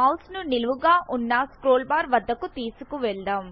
mouse ను నిలువుగానున్న scroll bar వద్దకు తీసుకుపొదాం